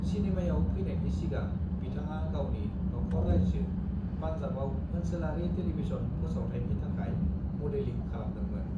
"सिनेमायाव फैनायनि सिगां, बिथाङा गावनि नखर-रायजो पान्जाबआव ओनसोलारि टेलिभिजन फोसावथायनि थाखाय मदेलिं खालामदोंमोन।"